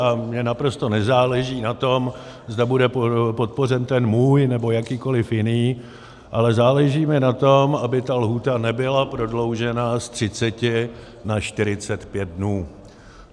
A mně naprosto nezáleží na tom, zda bude podpořen ten můj, nebo jakýkoliv jiný, ale záleží mi na tom, aby ta lhůta nebyla prodloužena z 30 na 45 dnů.